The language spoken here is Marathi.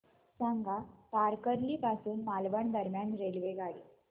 सांगा तारकर्ली पासून मालवण दरम्यान रेल्वेगाडी